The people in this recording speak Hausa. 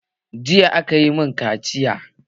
Jiya a ka yi mun kaciya